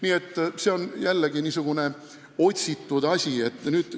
Nii et see on jällegi niisugune otsitud asi.